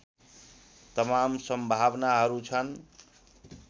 तमाम सम्भावनाहरू छन्